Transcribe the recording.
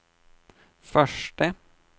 förste